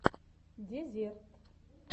дезерт